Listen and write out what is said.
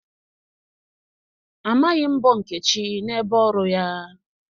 Amaghị mbọ Nkechi n'ebe ọrụ ya.